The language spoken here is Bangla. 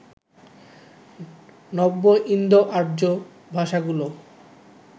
নব্য ইন্দোআর্য্য ভাষাগুলো